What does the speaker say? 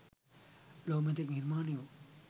ලොව මෙතෙක් නිර්මාණය වූ